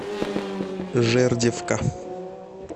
жердевка